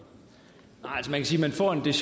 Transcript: der